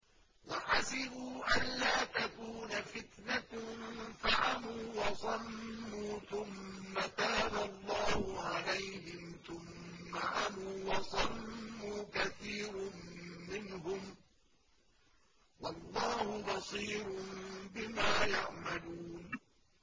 وَحَسِبُوا أَلَّا تَكُونَ فِتْنَةٌ فَعَمُوا وَصَمُّوا ثُمَّ تَابَ اللَّهُ عَلَيْهِمْ ثُمَّ عَمُوا وَصَمُّوا كَثِيرٌ مِّنْهُمْ ۚ وَاللَّهُ بَصِيرٌ بِمَا يَعْمَلُونَ